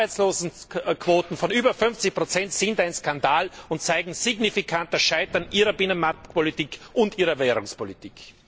Arbeitslosenquoten von über 50 sind ein Skandal und zeigen signifikant das Scheitern Ihrer Binnenmarktpolitik und Ihrer Währungspolitik!